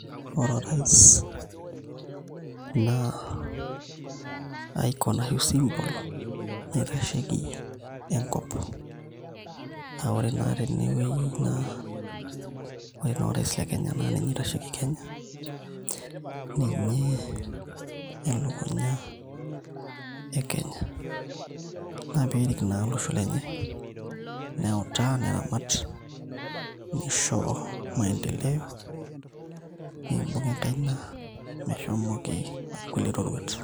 Ore orais na eaku na symbol naitashieki enkop aa ore na tenewueji ore na orais lekenya na ninye oitashieki kenya ninye elukunya e kenya na perik na olosho lenye neutaa neramat nisho maendeleo nibung enkaina meshomoita likae roruat.